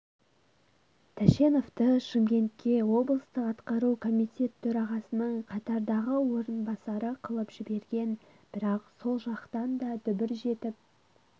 тәшеновты шымкентке облыстық атқару комитет төрағасының қатардағы орынбасары қылып жіберген бірақ сол жақтан да дүбір жетіп